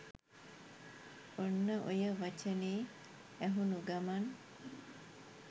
ඔන්න ඔය වචනේ ඇහුනු ගමන්